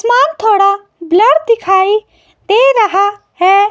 सामान थोड़ा ब्लर दिखाई दे रहा हैं।